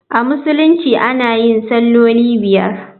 A Musulunci ana yin salloli biyar.